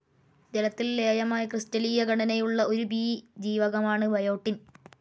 ജലത്തിൽ ലേയമായ, ക്രിസ്റ്റലീയഘടനയുള്ള ഒരു ബി ജീവകമാണ് ബയോട്ടിൻ.